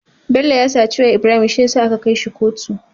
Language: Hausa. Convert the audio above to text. Bello ya saci wayar Ibrahim shiyasa aka kai shi kotu